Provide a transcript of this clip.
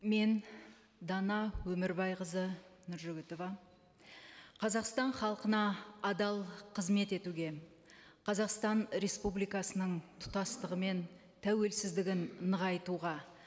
мен дана өмірбайқызы нұржігітова қазақстан халқына адал қызмет етуге қазақстан республикасының тұтастығы мен тәуелсіздігін нығайтуға